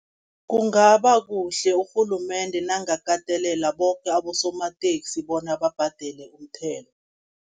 Kungaba kuhle urhulumende nakangakatelela boke abosomateksi, bona babhadele umthelo.